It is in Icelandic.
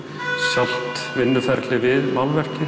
sjálft vinnuferlið við málverkið